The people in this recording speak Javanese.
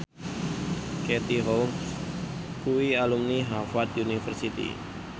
Katie Holmes kuwi alumni Harvard university